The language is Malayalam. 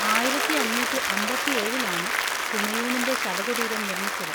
ആയിരത്തി അഞ്ഞൂറ്റി അമ്പത്തി ഏഴിൽ ആണ് ഹുമയൂണിൻ്റെ ശവ കുടീരം നിർമ്മിച്ചത് .